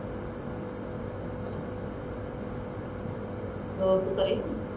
ਹੋਰ ਤੂੰ ਘਰੇ ਸੀ